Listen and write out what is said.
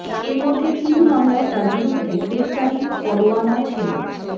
এর মধ্যে তিন মামলায় তার বিরুদ্ধে গ্রেফতারি পরোয়ানা ছিল